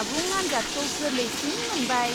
आबुं आन्जादखौ गोरलैसिन मोनबाय।